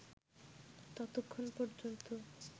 ততক্ষণ পর্যন্ত